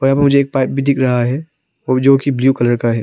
यहां पे मुझे एक पाइप भी दिख रहा है जो कि ब्ल्यू कलर का है।